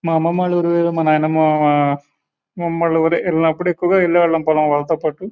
మా అమ్మమ్మ వాలా ఊరు గని మా నాయనమ్మ మా మామా వాలా ఊరు వెళ్ళినప్పుడు వెళ్ళేవాళ్ళం పొలం వాళ్ళతో పటు --